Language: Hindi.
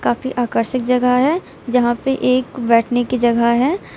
काफी आकर्षक जगह है जहां पे एक बैठने की जगह है।